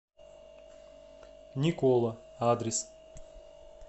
никола адрес